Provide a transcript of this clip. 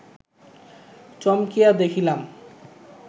চমকিয়া দেখিলাম